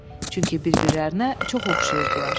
Çünki bir-birlərinə çox oxşayırdılar.